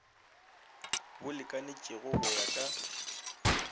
bo lekanetšego go ya ka